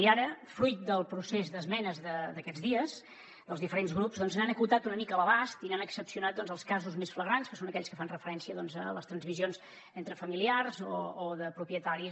i ara fruit del procés d’esmenes d’aquests dies dels diferents grups n’han acotat una mica l’abast i n’han excepcionat els casos més flagrants que són aquells que fan referència a les transmissions entre familiars o de propietaris